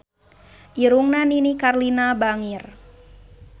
Irungna Nini Carlina bangir